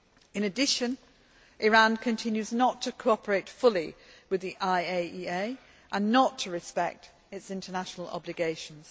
In addition, Iran continues not to cooperate fully with the IAEA and not to respect its international obligations.